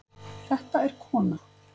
Þetta er kona.